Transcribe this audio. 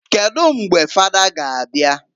Kedu mgbe fada ga abia?